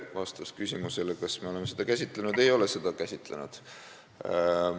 Vastus küsimusele, kas me oleme seda käsitlenud: ei ole seda käsitlenud.